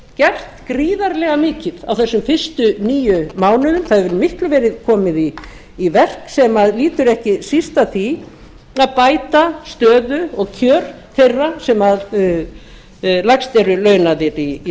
gert gríðarlega mikið á þessum fyrstu níu mánuðum það hefur miklu meiru verið komið í verk sem lýtur ekki síst að því að bæta stöðu og kjör þeirra sem lægst eru launaðir í